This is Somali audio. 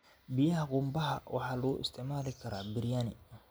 Biyaha qumbaha waxaa lagu isticmaali karaa biryani.